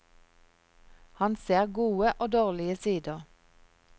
Han ser gode og dårlige sider.